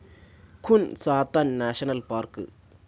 ഖുൻ Sathan national park